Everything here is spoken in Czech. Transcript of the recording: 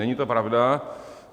Není to pravda.